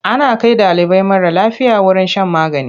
Ana kai ɗalibi mara lafiya wurin shan magani.